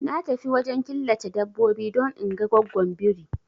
Na tafi wajen killace dabbobi don inga goggon biri